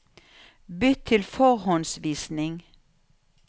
Bytt til forhåndsvisning